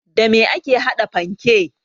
Da me ake haɗa panke?